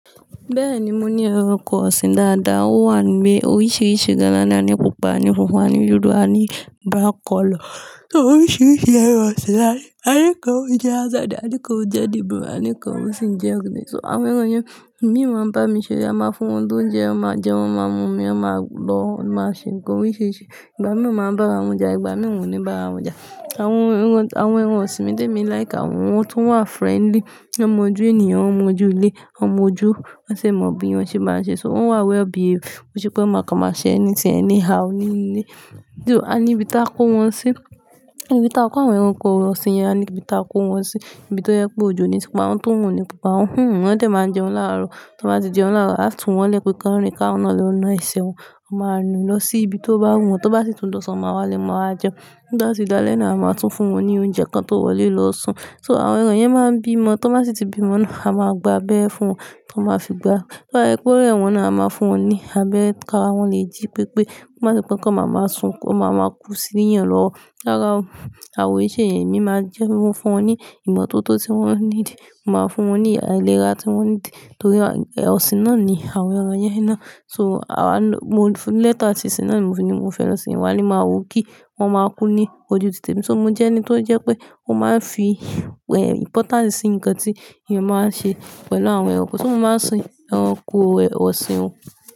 Bẹ́ẹ̀ni, mo ní ẹranko ọ̀sìn dáadáa. Wọ́n wà ni oríṣiríṣi gálà ní à ní pupa, àní funfun, àní dúdú, àní black color. So oríṣiríṣi ẹranko ọ̀sìn láni. Àní kan ò jẹ Hazard, àní kan ò jẹ De Bruyne, àní kan ò sì ń jẹ ogiri. So àwọn ẹranko yẹn, mí ò mọ bá mi ṣe. A máa fún wọn lóúnjẹ, wọn máa jẹun, wọn máa mú omi, wọn máa lọ, máa ṣe nǹkan oríṣiríṣi. Ìgbà mìíràn máa ń bá ra wọn jà, ìgbà mìíràn ò ní bá wọn jà. Àwọn ẹran ọ̀sìn mi tèmi like àwọn tún wà friendly, wọ́n mọ ojú ènìyàn, wọ́n mọ ju ilé, wọ́n mọ ojú wọn sì bí wọn ṣe so wọ́n wà well behaved. Kò ń ṣe pé wọn má kan má ṣe anything anyhow ní nínú ilé. Àní ibi tá kó wọn sí ibi tá a kó àwọn ẹranko ọ̀sìn yẹn, àní ibi tá a kó wọn sí. Ibi tó yẹ pé òjò ni tí wọn ti orun o ní pa wọn hmm, wọ́n a dẹ̀ máa ń jẹun láàárọ̀. Tí wọ́n bá ti jẹun láàárọ̀, a tún wọ́n lé pé ká lọ rìn ká, wọ́n lọ lè wọ́ná ìṣe wọn. Wọ́n máa nu lọ sí ibi tó bá wù wọ́n, tó bá sì tún dọ̀sán wọn máa wá lé wọn ma wá jẹun tó bá ti dá'lẹ́ náà a máa tún fún wọn ní oúnjẹ kan tó wọlé lọ́ṣùn. So àwọn ẹranko yẹn máa ń bímọ. Tí wọ́n bá sì ti bímọ náà a máa gba abeere fún wọn, tí wọ́n máa fi gbá. Tó bá ṣe pé órẹ wọ́n náà a máa fún wọn ní abẹ́er ká ra wọ́n lè jí pé pé kó má ṣe wọn kan màmá sun wọ́n máa máa lo kú sí níyàn lọ́rùn rárá, àwa o, e se yẹn, emí máa jẹ́ o fún wọn ní ìmọ́tótó tí wọ́n need. Mo máa fún wọn ní àìlera tí wọ́n need torí ẹranko ọ̀sìn náà ni àwọn ẹran yẹn iná. So àwa lo-- mo fún ní letter tí ìṣe náà ni mo fi ni mo fẹ́ lọ sin wá ní màá wò kí wọ́n máa kú ní ojú òtite mi. So mo jẹ́ ẹni tó pé ó máa ń fi importance sí nkan tí èèyàn máa ń ṣe pẹ̀lú àwọn ẹranko so mo máa ń sin ẹranko ọ̀sìn un.